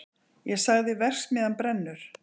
Ég sagði: verksmiðjan brennur!